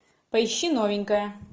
поищи новенькая